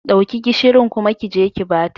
Dauki gishirin kuma kije ki bata.